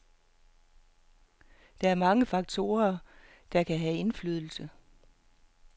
Der er mange faktorer, der kan have indflydelse.